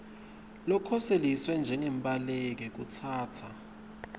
ngulokhoseliswe njengembaleki kutsatsa